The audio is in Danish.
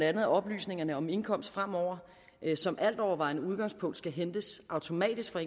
at oplysningerne om indkomst fremover som altovervejende udgangspunkt skal hentes automatisk fra